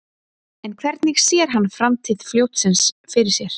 En hvernig sér hann framtíð fljótsins fyrir sér?